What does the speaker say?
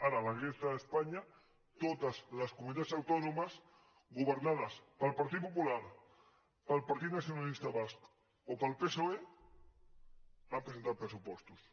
ara a la resta d’espanya totes les comunitats autònomes governades pel partit popular pel partit nacionalista basc o pel psoe han presentat pressupostos